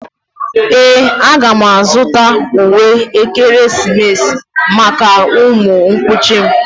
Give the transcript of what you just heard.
Ee, a ga m azụta uwe ekeresimesi maka ụmụ nkuchi m